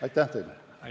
Aitäh teile!